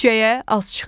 Küçəyə az çıxın.